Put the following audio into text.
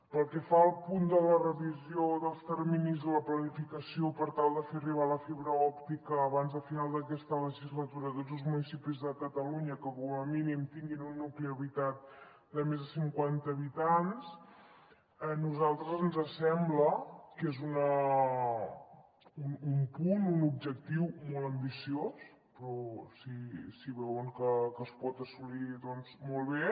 pel que fa al punt de la revisió dels terminis de la planificació per tal de fer arribar la fibra òptica abans de final d’aquesta legislatura a tots els municipis de catalunya que com a mínim tinguin un nucli habitat de més de cinquanta habitants a nosaltres ens sembla que és un punt un objectiu molt ambiciós però si veuen que es pot assolir doncs molt bé